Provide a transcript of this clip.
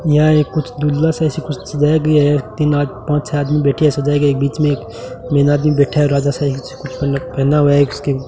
यह एक कुछ दुल्हा से ऐसी कुछ सजाया गया है तीन पांच छः आदमी बैठे से सजाया गया है बीच में एक मेन आदमी बैठा है राजा साईं जैसा पहना हुआ है एक इसको --